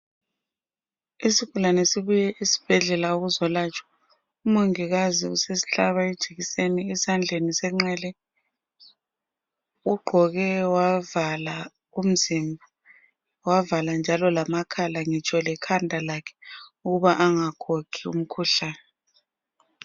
Isigulane sibuye esibhedlela ukuzolatshwa. UMongikazi usihlaba ijekiseni esandleni senxele. Ugqoke wavala umzimba, wavala njalo lamakhala ngitsho lekhanda lakhe ukuba angakhokhi umkhuhlane.